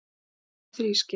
Ástæðan er þrískipt